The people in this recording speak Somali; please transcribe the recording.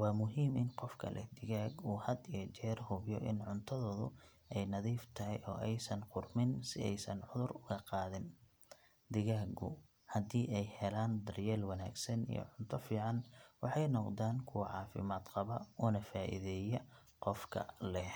Waa muhiim in qofka leh digaag uu had iyo jeer hubiyo in cuntadoodu ay nadiif tahay oo aysan qudhmin si aysan cudur uga qaadin. Digaagu haddii ay helaan daryeel wanaagsan iyo cunto fiican waxay noqdaan kuwo caafimaad qaba una faa’iideeya qofka leh.